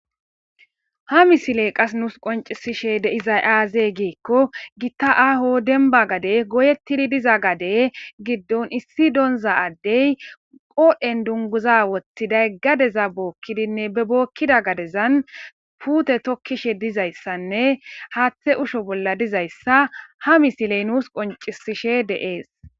ha misiley qas nuus qoncisishe de izay aaze giikko gitta aaho denba gade goyettidi diza gade giddon issi donza addey qooden dunguza wottiday gadeza bookkidinne be bookkida gadezan puute tokkishe dizayssanne haaththe usho bolla dizayssa ha misiley nuus qoncisishe deees